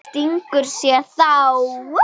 Stingur sér þá.